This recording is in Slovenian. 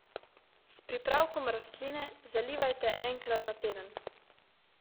S pripravkom rastline zalivajte enkrat na teden.